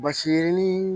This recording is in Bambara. Basi yirinin